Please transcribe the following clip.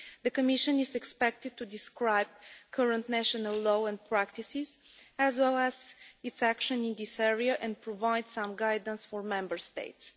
The Commission is expected to describe current national law and practices as well as its action in this area and provide some guidance for Member States.